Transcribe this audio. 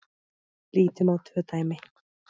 Lítum á tvö dæmi.